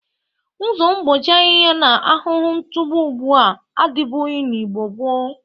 Ụzọ mgbochi ahiha na ahụhụ ntụgbụ ugbụ a adịbụghi n'Igbo gboo.